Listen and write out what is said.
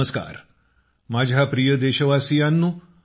नमस्कार माझ्या प्रिय देशवासियांनो